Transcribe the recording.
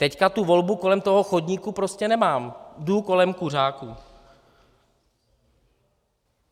Teď tu volbu kolem toho chodníku prostě nemám, jdu kolem kuřáků.